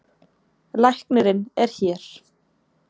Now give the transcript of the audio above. Læknirinn er hér.